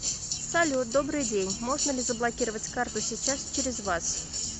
салют добрый день можно ли заблокировать карту сейчас через вас